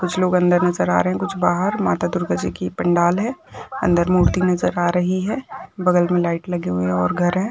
कुछ लोग अंदर नजर आ रहे है कुछ बाहर माता दुर्गा जिकि पंडाल है अंदर मूर्ति नज़र आ रही है बगल मे लाइट लगी हुई है और घर है।